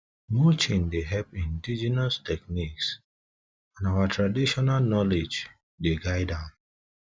mulching dey help indigenous techniques and our traditional knowledge dey guide am